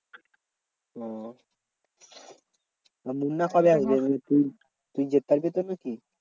ওহ তো মুন্না কবে আসবে? তুই তুই যেতে পারবি তো নাকি?